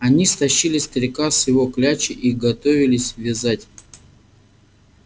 они стащили старика с его клячи и готовились вязать